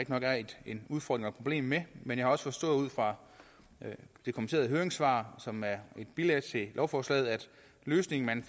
en udfordring problem med men jeg har også forstået ud fra det kommenterede høringssvar som er et bilag til lovforslaget at løsningen man